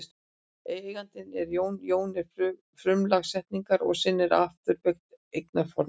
Eigandinn er Jón, Jón er frumlag setningarinnar og sinn er afturbeygt eignarfornafn.